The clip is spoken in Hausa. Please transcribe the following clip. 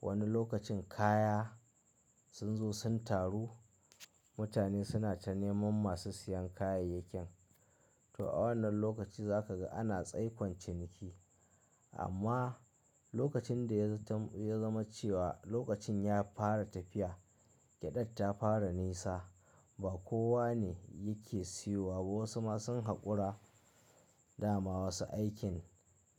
wani lokacin kaya sun zo sun taru, mutane suna ta neman masu siyan kayayyakin. To a wannan lokaci zaka ga ana tsaikon ciniki. Amma lokacin da ya zama cewa lokacin ya fara tafiya, gyaɗar ta fara nesa ba kowa ne yake siyowa ba. Wasu ma sun haƙura dama wasu aikin